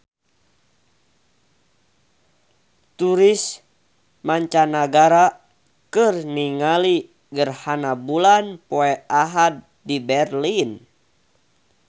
Turis mancanagara keur ningali gerhana bulan poe Ahad di Berlin